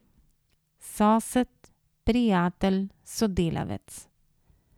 Sosed, prijatelj, sodelavec.